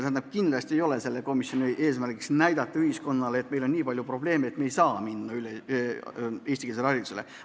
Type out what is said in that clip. Tähendab, kindlasti ei ole selle komisjoni eesmärk näidata ühiskonnale, et meil on nii palju probleeme ja sellepärast me ei saa minna üle eestikeelsele haridusele.